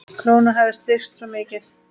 Krónan hafi styrkst svo mikið.